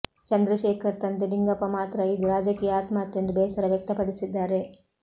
ಚಂದ್ರಶೇಖರ್ ತಂದೆ ಲಿಂಗಪ್ಪ ಮಾತ್ರ ಇದು ರಾಜಕೀಯ ಆತ್ಮಹತ್ಯೆ ಎಂದು ಬೇಸರ ವ್ಯಕ್ತಪಡಿಸಿದ್ದಾರೆ